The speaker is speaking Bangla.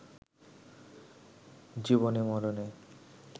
জীবনে-মরণে